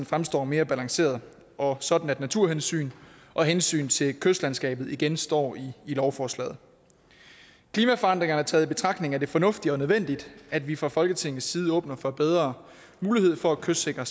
fremstår mere balanceret og sådan at naturhensyn og hensyn til kystlandskabet igen står i lovforslaget klimaforandringerne taget i betragtning er det fornuftigt og nødvendigt at vi fra folketingets side åbner for bedre mulighed for at kystsikre